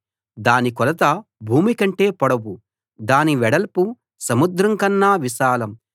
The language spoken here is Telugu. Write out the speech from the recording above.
దాని కొలత భూమికంటే పొడవు దాని వెడల్పు సముద్రంకన్నా విశాలం